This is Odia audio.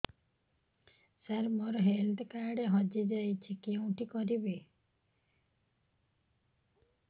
ସାର ମୋର ହେଲ୍ଥ କାର୍ଡ ହଜି ଯାଇଛି କେଉଁଠି କରିବି